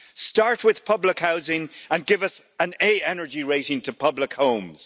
Start with public housing and give us an A energy rating to public homes.